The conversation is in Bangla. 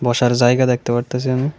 বসার জায়গা দেখতে পারতাছি আমি।